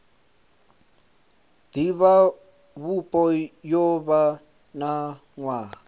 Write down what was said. divhavhupo yo vha na nwaha